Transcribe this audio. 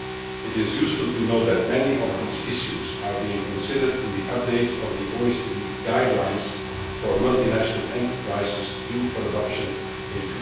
It is useful to note that many of these issues are being considered in the update of the OECD guidelines for multinational enterprises due for adoption in